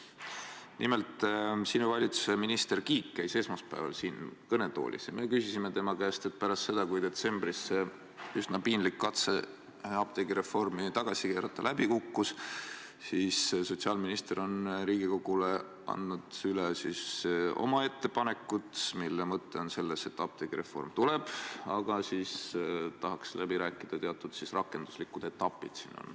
Nimelt, sinu valitsuse minister Kiik käis esmaspäeval siin kõnetoolis ja me küsisime tema käest, et pärast seda, kui detsembris see üsna piinlik katse apteegireformi tagasi keerata läbi kukkus, on sotsiaalminister Riigikogule andnud üle oma ettepanekud, mille mõte on selles, et apteegireform tuleb, aga siis tahaks läbi rääkida teatud rakenduslikud etapid.